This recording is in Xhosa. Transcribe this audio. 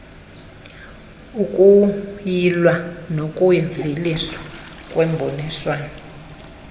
ukuyilw nokuveliswa kwemiboniso